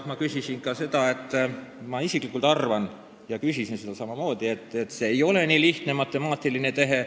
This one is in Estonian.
Ma isiklikult arvan ja ma ka küsisin selle kohta, et valimisringkondade ja nende piiride muutmine ei ole lihtne matemaatiline tehe.